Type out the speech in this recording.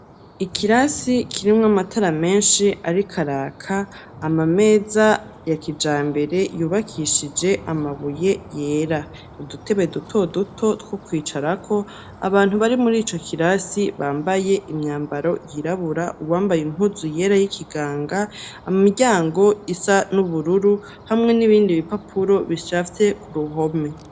Ikirasi kirimwo amatara menshi ariko araka, ama meza ya kijambere yubakishije amabuye yera, udutebe duto duto two kwicarako. Abantu bari mur'ico kirasi bambaye imyambaro yirabura, uwambaye impuzu yera y'ikiganga. Imiryango isa n'ubururu hamwe n'ibindi bipapuro bishashe k'uruhome.